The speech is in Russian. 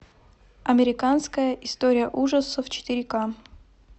американская история ужасов четыре ка